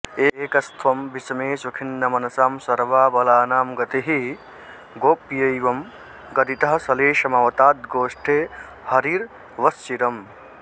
एकस्त्वं विषमेषु खिन्नमनसां सर्वाबलानां गतिः गोप्यैवं गदितः सलेशमवताद्गोष्ठे हरिर्वश्चिरम्